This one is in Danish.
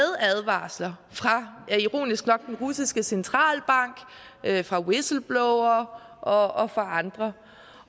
advarsler fra ironisk nok den russiske centralbank fra whistleblowere og fra andre